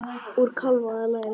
Úr kálfa eða læri!